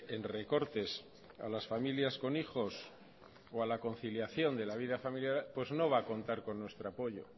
en recortes a las familias con hijos o a la conciliación de la vida familiar pues no va a contar con nuestro apoyo